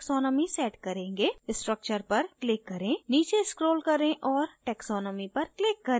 structure पर click करें नीचे scroll करें और taxonomy पर click करें